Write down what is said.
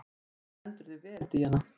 Þú stendur þig vel, Díana!